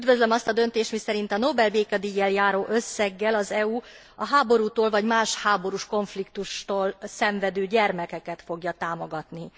Üdvözlöm azt a döntést, miszerint a Nobel békedíjjal járó összeggel az EU a háborútól vagy más, háborús konfliktustól szenvedő gyermekeket fogja támogatni.